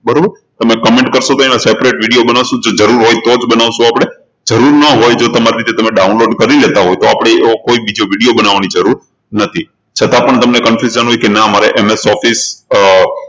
તમે comment કરશો તો એનો separate video બનાવશું જો જરૂર હોય તો જ બનાવશું આપણે જરૂર ના હોય જો તમે તમારી રીતે download કરી લેતા હોય તો આપણે એવો બીજો કોઈ video બનાવાની જરૂર નથી છતાં પણ તમને confusion હોય કે ના અમારે MS Office અર